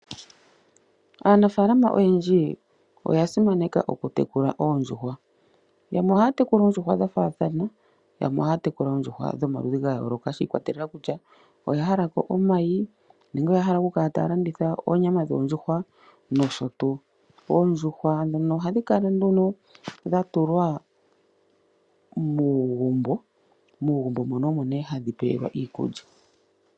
Aanafaalama oyendji oya simaneka okutekula oondjuhwa, yamwe ohaya tekula oondjuhwa dha faathana yamwe ohaya tekula oondjuhwa dhomaludhi ga yoolokathana shi i kwatelela kutya oya hala ko omayi nenge oya hala oku kala taya landitha oonyama dhoondjuhwa nosho tuu. Oondjuhwa ndhono ohadhi kala nee dha tulwa muugumbo, muugumbo muno omo nee hadhi pewe lwa iikulya.